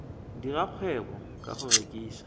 dira kgwebo ka go rekisa